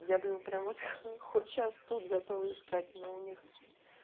я блин прям вот хоть сейчас тут готова искать но у них